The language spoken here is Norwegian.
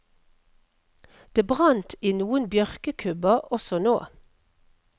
Det brant i noen bjørkekubber også nå.